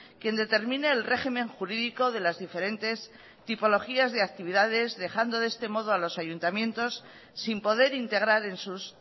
quien determine el régimen jurídico de las diferentes tipologías de actividades dejando de este modo a los ayuntamientos sin poder integrar en sus